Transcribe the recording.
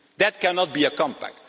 That cannot be a compact.